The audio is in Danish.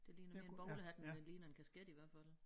Det ligner mere en bowlerhat end det ligner en kasket i hvert fald